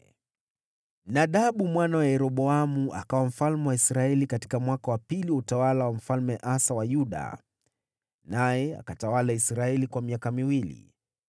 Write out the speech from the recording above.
Nadabu mwana wa Yeroboamu akawa mfalme wa Israeli katika mwaka wa pili wa utawala wa Mfalme Asa wa Yuda, naye akatawala Israeli kwa miaka miwili.